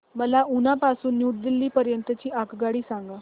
मला उना पासून न्यू दिल्ली पर्यंत ची आगगाडी सांगा